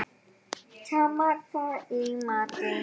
Tamar, hvað er í matinn?